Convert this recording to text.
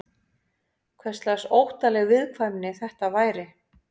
Hverslags óttaleg viðkvæmni þetta væri?